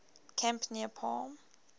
camp near palm